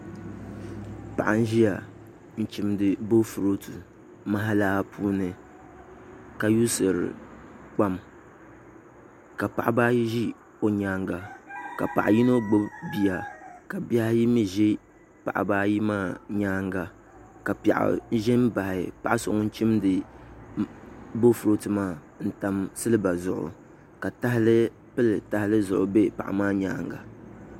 paɣa n-ʒia n-chimdi boofurooto mahalaa puuni ka yuusiri kpaam ka paɣiba ayi ʒi o nyaaŋa ka yino gbubi bia ka bihi ayi mi za paɣiba ayi maa nyaaŋa ka piɛɣu za m-baɣin paɣa so ŋun chindi boofurooto maa n-tam siliba zuɣu ka tahali pili tahali zuɣu m-be paɣa maa nyaaŋa